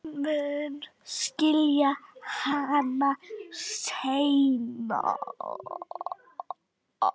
Hún mun skilja hana seinna.